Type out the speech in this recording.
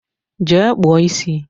Jee kpụọ isi!